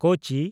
ᱠᱳᱪᱤ